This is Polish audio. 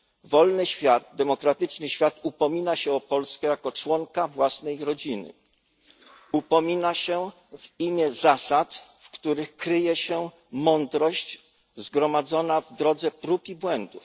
Wolny świat, demokratyczny świat upomina się o Polskę jako członka własnej rodziny, upomina się w imię zasad, w których kryje się mądrość zgromadzona w drodze prób i błędów.